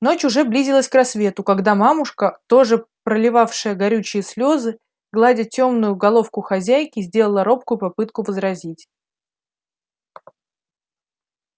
ночь уже близилась к рассвету когда мамушка тоже проливавшая горючие слезы гладя тёмную головку хозяйки сделала робкую попытку возразить